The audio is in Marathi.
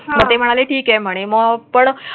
मध्ये म्हणाला, ठीक आहे आणि मग पण हा.